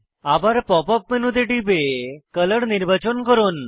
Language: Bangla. আবার পপ আপ মেনুতে টিপে কলর নির্বাচন করুন